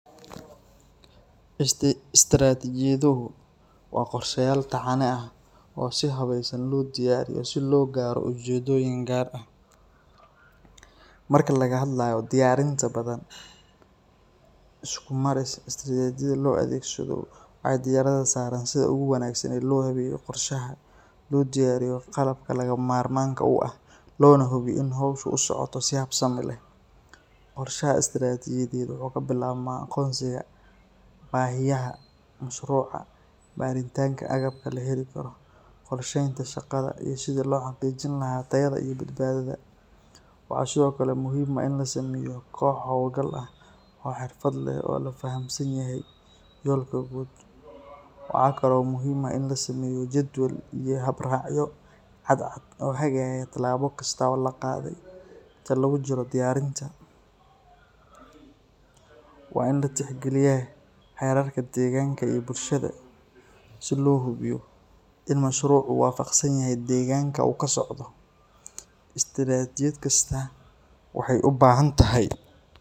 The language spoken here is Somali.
Istiratijadhu waa qorshayal taxane ah usi wanagsan lo diyariye si logaro ujedoyin gar ah, marka laga hadlayo diyarinta badan iskumaris istiratijadhu ee diyaradha saran sitha lohaweyo qorshaha lodiyariyo qalabka laga marmanka u ah, lona hubiyo in howsha u socoto, qorshaha istiratijadhu wuxuu kabilabma aqonsiga bahiyaha mashruca baritanka agabka qorshenta shaqada iyo sitha lohadajin laha, waxaa sithokale muhiim ah in kox oo xirfaad leh iyo awod waxaa kalo muhiim ah in lasameyo jadwal iyo hab raciyo caad cad oo hagago lamo kasta oo la qadhe inta lagu jiro diyarinta, waa in latix galiya deganka iyo bulshaada si lo hubiyo in mashrucu wa faqsanyahay deganka lasocdo istiratijad kasta waxee u bahantahay.